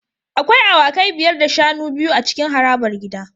Akwai awakai biyar da shanu biyu a cikin harabar gida